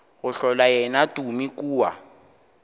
go hlola yena tumi kua